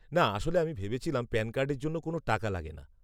না, আসলে আমি ভেবেছিলাম প্যান কার্ডের জন্য কোনও টাকা লাগেনা।